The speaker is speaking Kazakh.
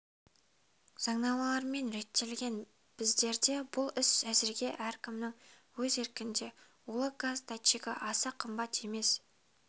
заңнамалармен реттелген біздерде бұл іс әзірге әркімнің өз еркінде улы газ датчигі аса қымбат емес